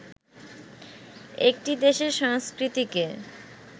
একটি দেশের সংস্কৃতিকে